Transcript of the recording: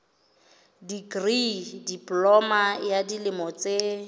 dikri diploma ya dilemo tse